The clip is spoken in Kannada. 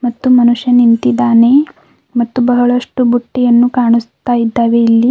ಒಂದು ಮನುಷ್ಯ ನಿಂತಿದ್ದಾನೆ ಮತ್ತು ಬಹಳಷ್ಟು ಬುಟ್ಟಿಯನ್ನು ಕಾಣಿಸ್ತಾ ಇದಾವೆ ಇಲ್ಲಿ.